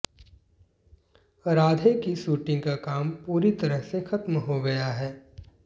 राधे की शूटिंग का काम पूरी तरह से खत्म हो गया है